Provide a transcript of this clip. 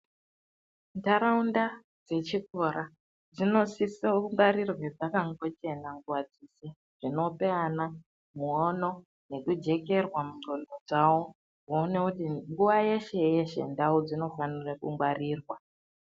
Ntaraunda dzechikora dzinosisa kungwarirwe dzakangochena nguva dzeshe, zvinopa ana muono nekujekerwa mungxondo dzawo kuona kuti nguwa yeshe yeshe ndau dzinofanira kungwaririrwa.